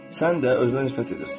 Sən də özünə nifrət edirsən.